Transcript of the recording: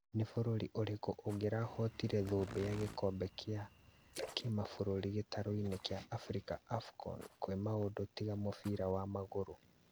Nĩ bũrũri ũrĩkũ ũngĩrahotire thũmbĩ ya gĩkombe kĩa kĩmabũrũri gĩtaro-inĩ kĩa Afrika Afcon kwĩ maũndũ tiga mũbira wa magũrũ?